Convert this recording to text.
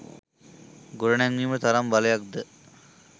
ගොඩනැංවීමට තරම් බලයක් ද